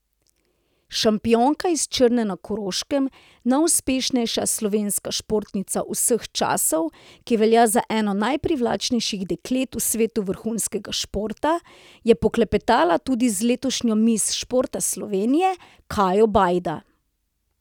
Šampionka iz Črne na Koroškem, najuspešnejša slovenska športnica vseh časov, ki velja za eno najprivlačnejših deklet v svetu vrhunskega športa, je poklepetala tudi z letošnjo miss športa Slovenije Kajo Bajda.